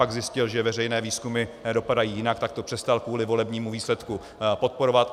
Pak zjistil, že veřejné výzkumy dopadají jinak, tak to přestal kvůli volebnímu výsledku podporovat.